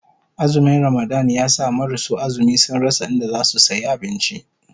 Azumin Ramadan ya sa marasu azumi sun rasa inda zasu sayi abinci